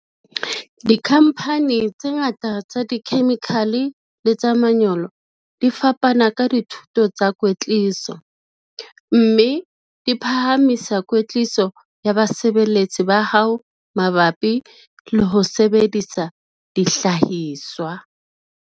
Dikhamphani tse ngata tsa dikhemikhale le tsa manyolo di fana ka dithuto tsa kwetliso, mme di phahamisa kwetliso ya basebeletsi ba hao mabapi le ho sebedisa dihlahiswa.